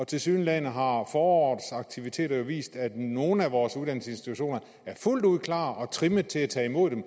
tilsyneladende har forårets aktiviteter vist at nogle af vores uddannelsesinstitutioner er fuldt ud klar og trimmet til at tage imod dem